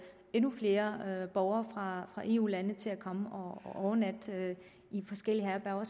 endnu flere borgere fra eu lande til at komme og overnatte i forskellige herberger